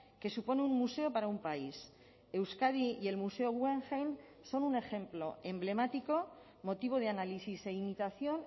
que supone un museo para un país euskadi y el museo guggenheim son un ejemplo emblemático motivo de análisis e imitación